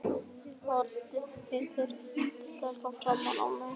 Uppskriftirnar voru gerðar eftir fornum skinnblöðum sem síðar glötuðust.